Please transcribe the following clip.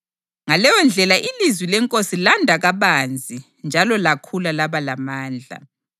Ngaleyondlela ilizwi leNkosi landa kabanzi njalo lakhula laba lamandla.